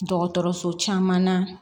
Dɔgɔtɔrɔso caman na